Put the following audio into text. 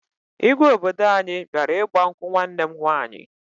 Igwe obodo anyị bịara ịgba nkwụ nwanne m nwaanyị